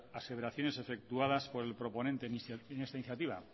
aseveraciones efectuadas por el proponente en esta iniciativa